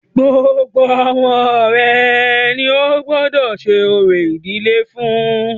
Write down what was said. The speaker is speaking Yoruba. Gbogbo ọmọ rẹ ní o gbọ́dọ̀ ṣe orò ìdílé fún.